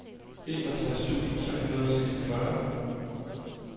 enogtres tusind tre hundrede og seksogfyrre